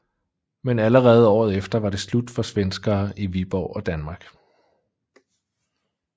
Men allerede året efter var det slut for svenskere i Viborg og Danmark